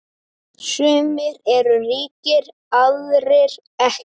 Sumir eru ríkir, aðrir ekki.